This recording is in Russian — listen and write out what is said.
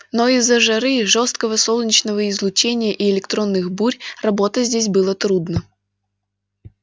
но из-за жары и жёсткого солнечного излучения и электронных бурь работать здесь было трудно